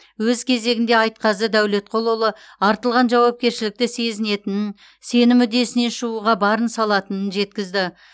өз кезегінде айтқазы дәулетқұлұлы артылған жауапкершілікті сезінетінін сенім үдесінен шығуға барын салатынын жеткізді